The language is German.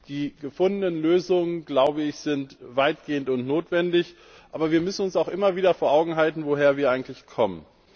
Die gefundenen Lösungen, glaube ich, sind weitgehend und notwendig, aber wir müssen uns auch immer wieder vor Augen halten, woher wir eigentlich kommen.